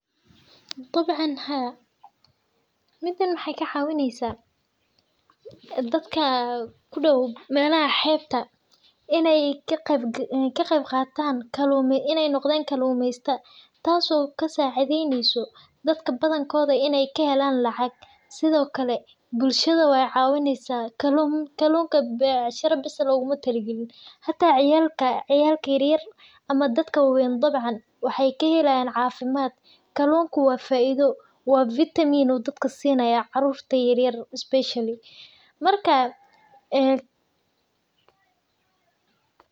Dabcan Haa midan waxee ka cawineysa dadka kunol meelaha xebta in ee notan kalumesata tas oo kasacidhetneso lacag sithokale bulshada ayey cawineysa hata dadka ayu ufican yahay waxaa kamiid ah carurta yar yar iyo hata dadka wawen ayu cawinaya wuxuu sinaya vitamin specially marka ee.